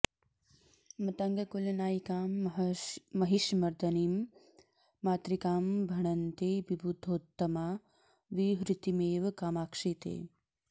मतङ्गकुलनायिकां महिषमर्दनीं मातृकां भणन्ति विबुधोत्तमा विहृतिमेव कामाक्षि ते